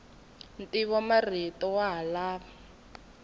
ntivomarito wa ha lava ku